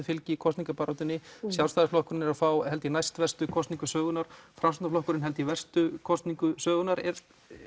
fylgi í kosningabaráttunni Sjálfstæðisflokkurinn er að fá held ég næst verstu kosningu sögunnar Framsóknarflokkurinn held ég verstu kosningu sögunnar er